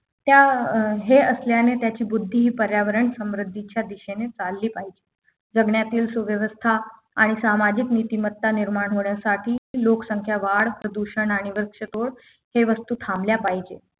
त्या अं हे असल्याने त्याची बुद्धीहि पर्यावरण समृद्धीच्या दिशेने चालली पाहिजे जगण्यातील सूव्यवस्था आणि सामाजिक नीतिमत्ता निर्माण होण्यासाठी लोकसंख्या वाढ प्रदूषण आणि वृक्षतोड हे वस्तू थांबले पाहिजे